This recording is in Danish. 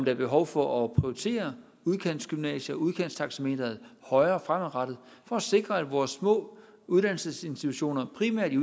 er behov for at prioritere udkantsgymnasier udkantstaxameteret højere fremadrettet for at sikre at vores små uddannelsesinstitutioner primært i